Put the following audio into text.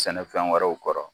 Sɛnɛ fɛn wɛrɛw kɔrɔ